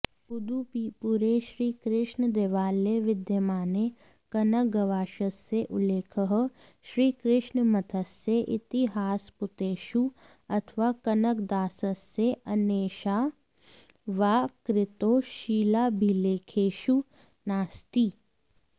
उडुपीपुरे श्रीकृष्णदेवालये विद्यमाने कनकगवाक्षस्य उल्लेखः श्रीकृष्णमठस्य इतिहासपुटेषु अथवा कनकदासस्य अन्येषां वा कृतौ शिलाभिलेखेषु नास्ति